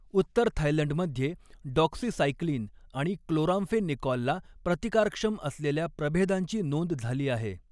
उत्तर थायलंडमध्ये डॉक्सीसाइक्लिन आणि क्लोराम्फेनिकॉलला प्रतिकारक्षम असलेल्या प्रभेदांची नोंद झाली आहे.